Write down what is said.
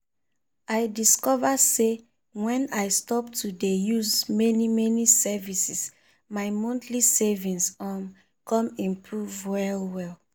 i discover say when i stop to de use many many services my monthly savings um come improve well well.